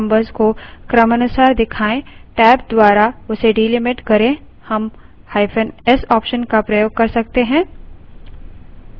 यदि हम चाहते हैं कि paste numbers को क्रमानुसार दिखाए टैब द्वारा उसे delimited करें हम –s option का प्रयोग कर सकते हैं